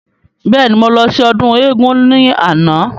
Bẹ́ẹ̀ni, mo lọ sí ọdún éégún ni àná.